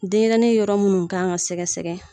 Denɲɛrɛnin yɔrɔ munnu kan ka sɛgɛ sɛgɛ.